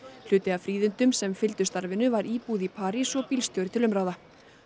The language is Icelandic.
hluti af fríðindum sem fylgdu starfinu var íbúð í París og bílstjóri til umráða